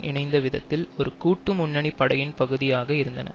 இணைந்த விதத்தில் ஒரு கூட்டு முன்னணி படையின் பகுதியாக இருந்தன